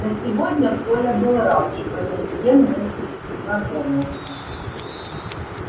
но сегодня коля был рад что ни с кем не знакомился